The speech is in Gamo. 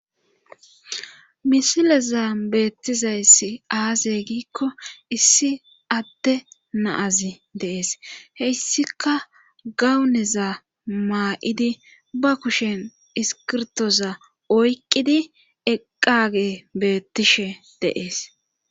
misilezan beettizayssi aazey giikko issi atte naazi deees heyssika gawuneza maa7idi ba kushen iskirtoza oyqqidi eqqage beettishe deees